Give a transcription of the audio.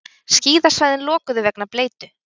Skíðasvæðin lokuð vegna bleytu